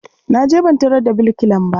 Na je ban tarar da birkilan ba.